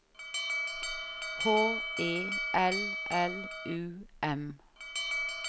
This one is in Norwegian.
H E L L U M